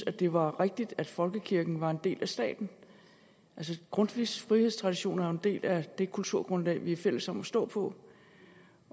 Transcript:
at det var rigtigt at folkekirken var en del af staten altså grundtvigs frihedstraditioner er jo en del af det kulturgrundlag vi er fælles om at stå på